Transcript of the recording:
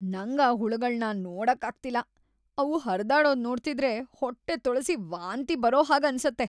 ನಂಗ್ ಆ ಹುಳಗಳ್ನ ನೋಡಕ್ ಆಗ್ತಿಲ್ಲ; ಅವು ಹರ್ದಾಡೋದ್‌ ನೋಡ್ತಿದ್ರೆ ಹೊಟ್ಟೆ ತೊಳ್ಸಿ ವಾಂತಿ ಬರೋ ಹಾಗ್‌ ಅನ್ಸತ್ತೆ.